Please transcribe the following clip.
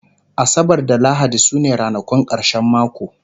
asabar da lahadi sune ranakun karshen mako